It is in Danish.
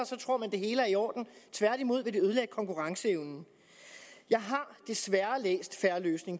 hele er i orden tværtimod vil det ødelægge konkurrenceevnen jeg har desværre læst fair løsning